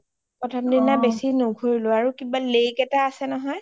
অ প্ৰথম দিনা বেছি নুঘোৰিলো আৰু কিবা lake এটা আছে নহয় clear যে পানি যে